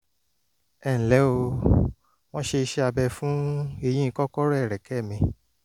ẹ ǹlẹ́ o o wọ́n ṣe iṣẹ́ abẹ fún eyín kọ̀rọ̀ ẹ̀rẹ̀kẹ́ mi